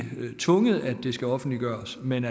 det skal offentliggøres men